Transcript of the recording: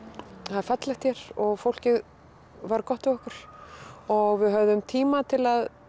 það er fallegt hér og fólkið var gott við okkur og við höfðum tíma til að